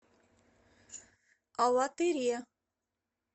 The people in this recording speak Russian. алатыре